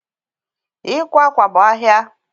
Ịkwa akwa bụ ahia